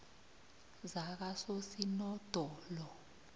zakososinodolo